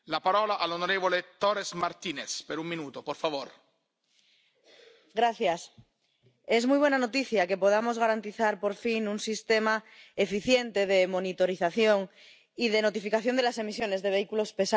Señor presidente, es muy buena noticia que podamos garantizar, por fin, un sistema eficiente de monitorización y de notificación de las emisiones de vehículos pesados.